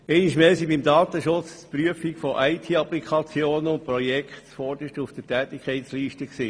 Einmal mehr standen beim Datenschutz die Prüfung von IT-Applikationen und Projekten zuoberst auf der Tätigkeitsliste.